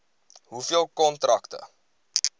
hoeveel kontrakte